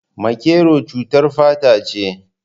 Makero cutar fata ce